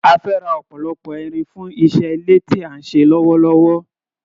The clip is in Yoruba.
A fẹ́ ra ọ̀pọ̀lọpọ̀ irin fún iṣẹ́ ilé tí à ń ṣe lọ́wọ́lọ́wọ́